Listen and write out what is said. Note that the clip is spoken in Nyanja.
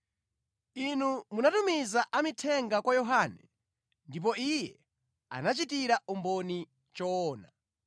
“Inu munatumiza amithenga kwa Yohane ndipo iye anachitira umboni choona.